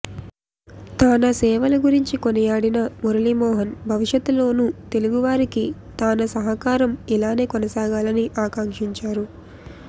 తానా సేవల గురించి కొనియాడిన మురళీ మోహన్ భవిష్యత్తులోను తెలుగువారికి తానా సహకారం ఇలాగే కొనసాగాలని ఆకాక్షించారు